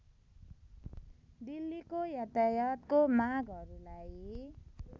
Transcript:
दिल्लीको यातायातको माँगहरूलाई